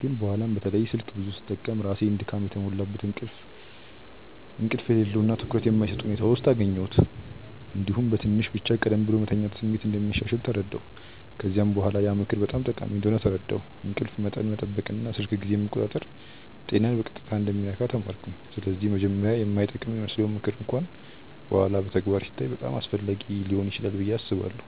ግን በኋላ በተለይ ስልክ ብዙ ስጠቀም ራሴን ድካም የተሞላበት፣ እንቅልፍ የሌለው እና ትኩረት የማይሰጥ ሁኔታ ውስጥ እገኛ ጀመርሁ። እንዲሁም በትንሽ ብቻ ቀደም ብሎ መተኛት ስሜት እንደሚያሻሽል ተረዳሁ። ከዚያ በኋላ ያ ምክር በጣም ጠቃሚ እንደሆነ ተረዳሁ፤ እንቅልፍ መጠን መጠበቅ እና ስልክ ጊዜን መቆጣጠር ጤናን በቀጥታ እንደሚነካ ተማርኩ። ስለዚህ መጀመሪያ የማይጠቅም ይመስለው ምክር እንኳን በኋላ በተግባር ሲታይ በጣም አስፈላጊ ሊሆን ይችላል ብዬ አስባለሁ።